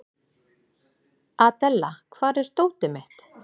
Adela, hvar er dótið mitt?